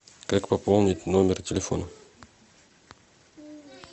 как пополнить номер телефона